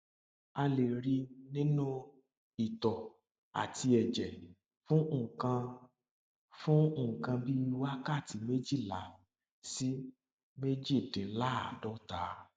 a lè rí i nínú itọ àti ẹjẹ fún nǹkan fún nǹkan bí wákàtí méjìlá sí méjìdínláàádọta